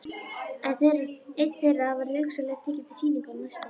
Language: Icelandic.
Einn þeirra verði hugsanlega tekinn til sýningar á næsta ári.